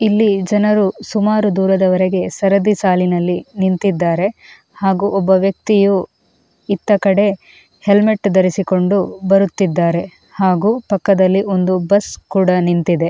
ಇಲ್ಲಿ ಜನರು ಸುಮಾರು ದೂರದವರೆಗೆ ಸರದಿ ಸಾಲಿನಲ್ಲಿ ನಿಂತಿದ್ದಾರೆ ಹಾಗೂ ಒಬ್ಬ ವ್ಯಕ್ತಿಯು ಇತ್ತ ಕಡೆ ಹೆಲ್ಮೆಟ್ ಧರಿಸಿಕೊಂಡು ಬರುತ್ತಿದ್ದಾರೆ ಹಾಗೂ ಪಕ್ಕದಲ್ಲಿ ಒಂದು ಬಸ್ ಕೂಡ ನಿಂತಿದೆ.